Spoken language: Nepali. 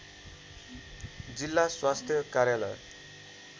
जिल्ला स्वास्थ्य कार्यालय